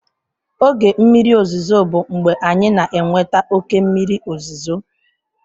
Oge mmiri ozuzo bụ mgbe anyị na-enweta oke mmiri ozuzo.